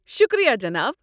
شُکریہ، جِناب۔